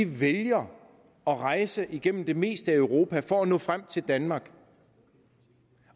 vælger at rejse igennem det meste af europa for at nå frem til danmark